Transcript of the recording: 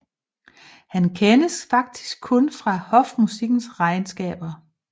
Han kendes faktisk kun fra hofmusikkens regnskaber